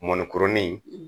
Mɔnni kuruni